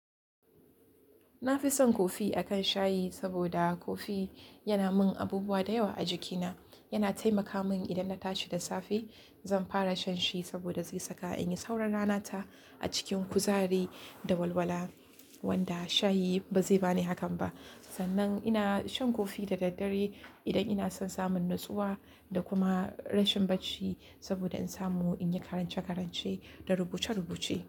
Na fi son kofi a kan shayi saboda kofi yana min abubuwa da yawa a jikina. Yana taimaka min idan na tashi da safe, zan fara shan shi saboda zai saka in yi sauran rana ta a cikin kuzari da walwala, wanda shayi ba zai ba ni hakan ba. Sannan ina shan kofi da daddare idan ina son samun natsuwa da kuma rashin bacci saboda in samu in yi karance-karance da rubuce-rubuce.